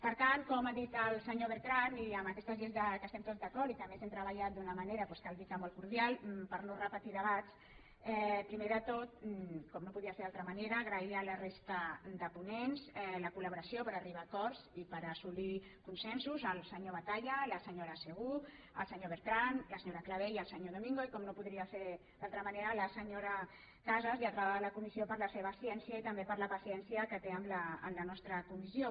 per tant com ha dit el senyor beltran i amb aquestes lleis en què estem tots d’acord i a més hem treballat d’una manera doncs cal dir que molt cordial per no repetir debat primer de tot com no podia ser d’una altra manera agrair la resta de ponents la col·laboració per arribar a acords i per assolir consensos el senyor batalla la senyora segú el senyor beltran la senyora clavé i el senyor domingo i com no podia ser d’una altra manera la senyora casas lletrada de la comissió per la seva ciència i també per la paciència que té amb la nostra comissió